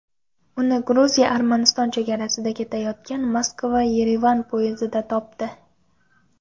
Uni Gruziya-Armaniston chegarasida ketayotgan Moskva-Yerevan poyezdida topdi.